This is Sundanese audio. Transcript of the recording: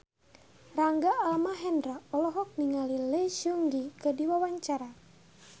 Rangga Almahendra olohok ningali Lee Seung Gi keur diwawancara